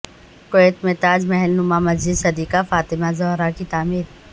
Kuwait میں تاج محل نما مسجد صدیقہ فاطمہ زہرا کی تعمیر